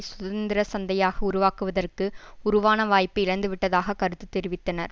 சுதந்திர சந்தையாக உருவாக்குவதற்கு உருவான வாய்ப்பை இழந்துவிட்டதாக கருத்து தெரிவித்தனர்